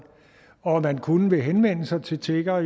og man kunne jo henvende sig til tiggere og